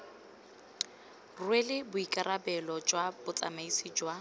rwele boikarabelo jwa botsamaisi jwa